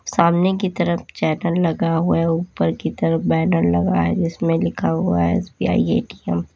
सामने की तरफ चैनल लगा हुआ है ऊपर की तरफ बैनर लगा है जिसमें लिखा हुआ है एस_बी_आई ए_टी_एम ।